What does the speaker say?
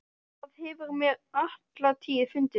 Það hefur mér alla tíð fundist.